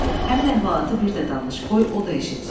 Həmin əhvalatı bir də danış, qoy o da eşitsin.